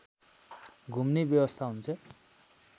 घुम्ने व्यवस्था हुन्छ